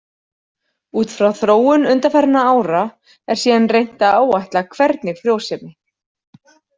Út frá þróun undanfarinna ára er síðan reynt að áætla hvernig frjósemi.